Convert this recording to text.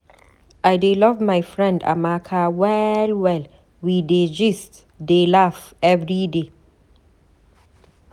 I love my friend Amaka well well, we dey gist dey laugh everyday.